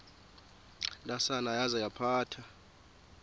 ntsasana yaza yaphatha